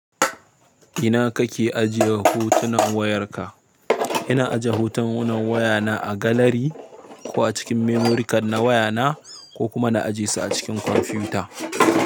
Ina kake ajiye hotunan wayarka? Ina aje hotunan wayana a galari ko a cikin memorikan na wayana ko kuma na ajiyesu a cikin kwamfiyuta.